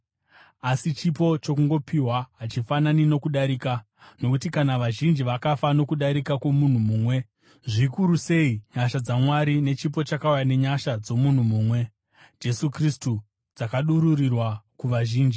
Asi chipo chokungopiwa hachifanani nokudarika. Nokuti kana vazhinji vakafa nokudarika kwomunhu mumwe, zvikuru sei nyasha dzaMwari nechipo chakauya nenyasha dzomunhu mumwe, Jesu Kristu, dzakadururirwa kuvazhinji!